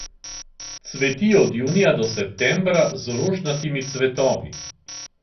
Cveti od junija do septembra z rožnatimi cvetovi.